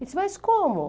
Eu disse, mas como?